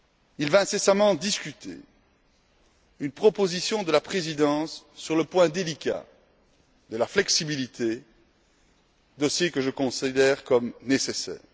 Il va incessamment discuter d'une proposition de la Présidence sur le point délicat de la flexibilité, dossier que je considère comme nécessaire.